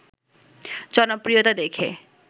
জনপ্রিয়তা দেখে